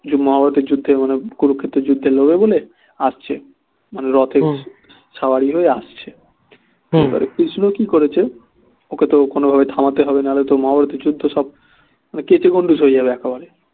মহাভারতের যুদ্ধের মতন কুরুক্ষেত্রের যুদ্ধে লড়বে বলে আসছে মানে রথে বসে হয়ে আসছে এবার কৃষ্ণ কি করেছে ওকে তো কোনো ভাবে থামাতে হবে না হলে তো মহাভারতের যুদ্ধ সব কেচেগণ্ডূষ হয়ে যাবে একেবারে